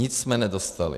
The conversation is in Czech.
Nic jsme nedostali.